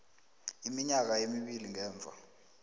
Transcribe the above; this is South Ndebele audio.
iminyaka emibili ngemva